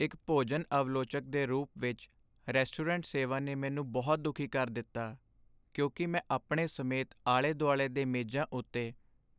ਇੱਕ ਭੋਜਨ ਆਲਵੋਚਕ ਦੇ ਰੂਪ ਵਿੱਚ, ਰੈਸਟੋਰੈਂਟ ਸੇਵਾ ਨੇ ਮੈਨੂੰ ਬਹੁਤ ਦੁਖੀ ਕਰ ਦਿੱਤਾ ਕਿਉਂਕਿ ਮੈਂ ਆਪਣੇ ਸਮੇਤ ਆਲੇ ਦੁਆਲੇ ਦੇ ਮੇਜ਼ਾਂ ਉੱਤੇ